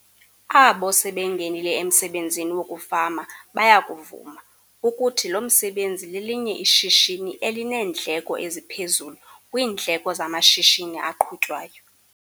Abo sebengenile emsebenzini wokufama baya kuvuma, ukuthi lo msebenzi lelinye ishishini elineendleko eziphezulu kwiindleko zamashishini aqhutywayo.